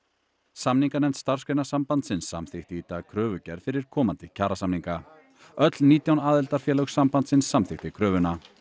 samninganefnd Starfsgreinasambandsins samþykkti í dag kröfugerð fyrir komandi kjarasamninga öll nítján aðildarfélög sambandsins samþykktu kröfuna